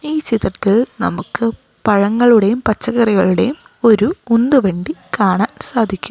ഈ ചിത്രത്തിൽ നമുക്ക് പഴങ്ങളുടെയും പച്ചക്കറികളുടെയും ഒരു ഉന്തുവണ്ടി കാണാൻ സാധിക്കും.